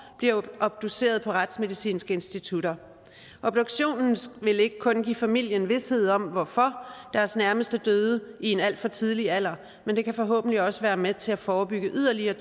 bliver obduceret på retsmedicinske institutter obduktionen vil ikke kun give familien vished om hvorfor deres nærmeste døde i en alt for tidlig alder men den kan forhåbentlig også være med til at forebygge yderligere